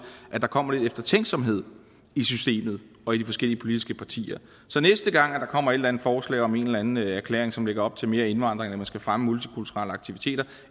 at der kommer lidt eftertænksomhed i systemet og i de forskellige politiske partier så næste gang der kommer et eller andet forslag om en eller anden erklæring som lægger op til mere indvandring og at man skal fremme multikulturelle aktiviteter